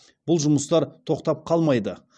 бұл жұмыстар тоқтап қалмайды